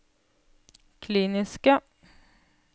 kliniske